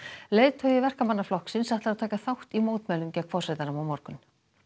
leiðtogi Verkamannaflokksins ætlar að taka þátt í mótmælum gegn forsetanum á morgun